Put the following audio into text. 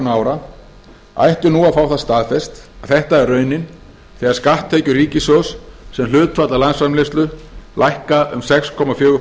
ára ættu nú að fá það staðfest að þetta er raunin þegar skatttekjur ríkissjóðs sem hlutfall af landsframleiðslu lækka um sex komma fjögur